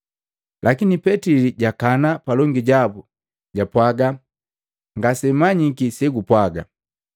Lakini Petili jakana palongi jabu jwapwaga, “Ngasemanyiki segumpwaga.”